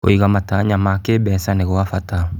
Kũiga matanya ma kĩmbeca nĩ gwa bata.